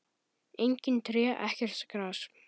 Engin tré, ekkert gras.